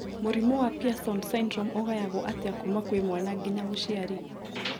Mũrimũ wa Pierson syndrome ũgayagwo atĩa kuma kwĩ mwana nginya mũciari